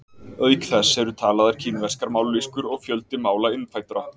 auk þess eru talaðar kínverskar mállýskur og fjöldi mála innfæddra